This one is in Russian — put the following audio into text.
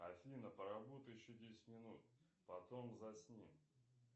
афина поработай еще десять минут потом засни